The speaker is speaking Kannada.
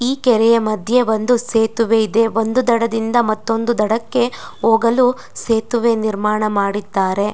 ಈ ಕೆರೆಯ ಮದ್ಯ ಬಂದು ಸೇತುವೆ ಇದೆ ಒಂದು ದಡದಿಂದ ಮತ್ತೊಂದು ದಡಕ್ಕೆ ಹೋಗಲು ಸೇತುವೆ ನಿರ್ಮಾಣ ಮಾಡಿದ್ದಾರೆ.